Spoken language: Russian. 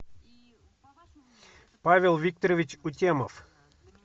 павел викторович кутемов